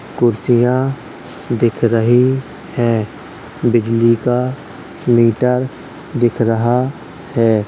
कुर्सियाँ दिख रही हैं। बिजली का मीटर दिख रहा है।